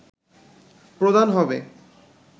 প্রধান হবে